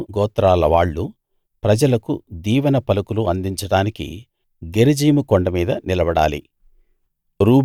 బెన్యామీను గోత్రాలవాళ్ళు ప్రజలకు దీవెన పలుకులు అందించడానికి గెరిజీము కొండ మీద నిలబడాలి